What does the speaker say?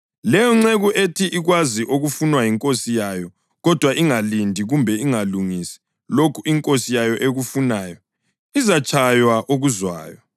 Leyonceku ethi ikwazi okufunwa yinkosi yayo kodwa ingalindi kumbe ingalungisi lokho inkosi yayo ekufunayo izatshaywa okuzwayo.